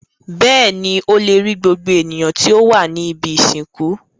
Bẹ́ẹ̀ni, ó le rí gbogbo ènìyàn tí ó wà ní ibi-ìsìnkú.